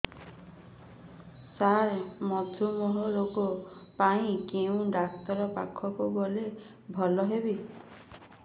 ସାର ମଧୁମେହ ରୋଗ ପାଇଁ କେଉଁ ଡକ୍ଟର ପାଖକୁ ଗଲେ ଭଲ ହେବ